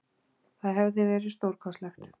Það hefði verið stórkostlegt!